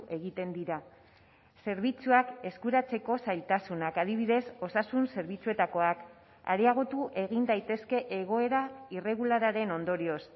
egiten dira zerbitzuak eskuratzeko zailtasunak adibidez osasun zerbitzuetakoak areagotu egin daitezke egoera irregularraren ondorioz